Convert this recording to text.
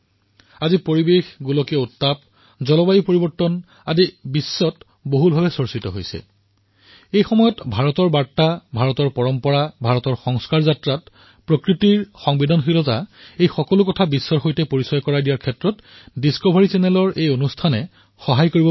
আজি যেতিয়া পৰিবেশ গোলকীয় উত্তাপ জলবায়ু পৰিৱৰ্তন এক বিশ্বজনীন চিন্তনৰ বিষয় হৈ পৰিছে মই আশা প্ৰকাশ কৰিছো যে এই কাৰ্যসূচীয়ে ভাৰতৰ বাৰ্তা ভাৰতৰ পৰম্পৰা ভাৰতৰ সংস্কাৰ যাত্ৰাত প্ৰকৃতিৰ প্ৰতি সংবেদনশীলতা এই সকলোবোৰ কথা বিশ্বক পৰিচিত কৰোৱাত এই ডিস্কভাৰী চেনেলৰ এই খণ্ডই বহুত সহায় কৰিব